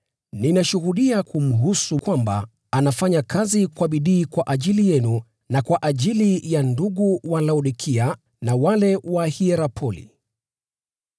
Ninashuhudia kumhusu kwamba anafanya kazi kwa bidii kwa ajili yenu, na kwa ajili ya ndugu wa Laodikia na wale wa Hierapoli.